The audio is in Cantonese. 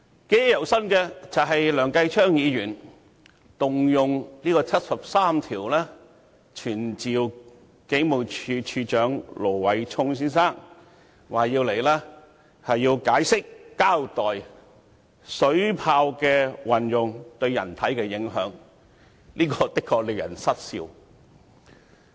記憶猶新的是梁繼昌議員根據《基本法》第七十三條動議傳召警務處處長盧偉聰先生到本會席前解釋及交代水炮的運用對人體的影響，這的確令人失笑。